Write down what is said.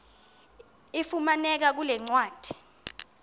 ifumaneka kule ncwadi